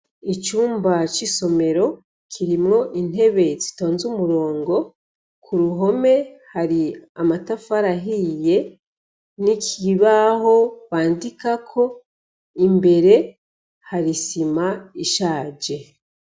Icumba c'isomero kirimwo intebe zitonze umurongo, ku ruhome hari amatafari ahiye n'ikibaho bandikako, imbere hari isima ishaje.